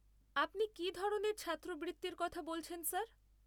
আপনি কী ধরনের ছাত্রবৃত্তির কথা বলছেন স্যার?